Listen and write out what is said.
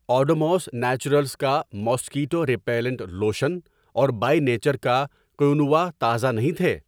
Odomos naturals کا mosquito repellent lotion اور by nature کا قینوا تازہ نہیں تھے۔